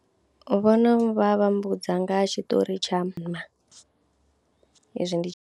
Vho no vha vha mbudza nga ha tshiṱori tsha hezwi ndi.